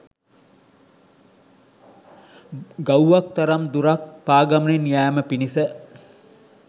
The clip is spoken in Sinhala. ගව්වක් තරම් දුරක් පා ගමනින් යෑම පිණිස